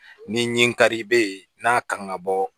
Ni nin kari bɛ yen n'a kan ka bɔ